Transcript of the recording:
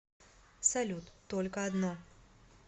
салют только одно